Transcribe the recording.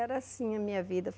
Era assim a minha vida.